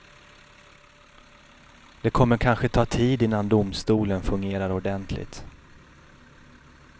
Det kommer kanske ta tid innan domstolen fungerar ordentligt.